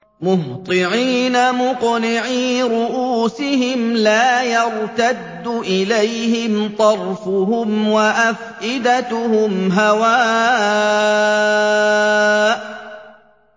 مُهْطِعِينَ مُقْنِعِي رُءُوسِهِمْ لَا يَرْتَدُّ إِلَيْهِمْ طَرْفُهُمْ ۖ وَأَفْئِدَتُهُمْ هَوَاءٌ